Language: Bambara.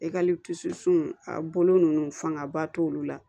a bolo ninnu fangaba t'olu la